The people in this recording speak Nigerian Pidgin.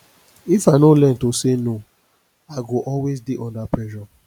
if i no learn to say no i go always dey under pressure